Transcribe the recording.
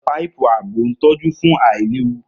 Páìpù ààbò ń tọ́jú fún àìlewu